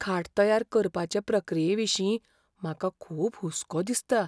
खाट तयार करपाचे प्रक्रियेविशीं म्हाका खूब हुस्को दिसता.